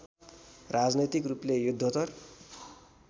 राजनैतिक रूपले युद्धोत्तर